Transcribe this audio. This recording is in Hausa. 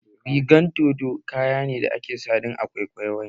Rigan dodo kaya ne da ake sawa don a kwaikwayi wani